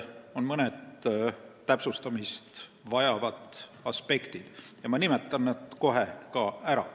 On mõned täpsustamist vajavad aspektid ja ma nimetan need kohe ära.